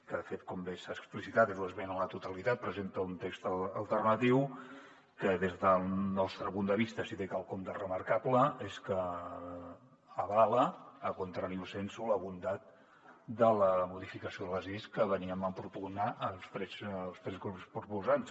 que de fet com bé s’ha explicitat és una esmena a la totalitat presenta un text alternatiu que des del nostre punt de vista si té quelcom de remarcable és que avala a contrario sensu la bondat de la modificació de les lleis que veníem a propugnar els tres grups proposants